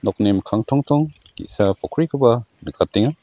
nokni mikkang tongtong ge·sa pokkrikoba nikatenga.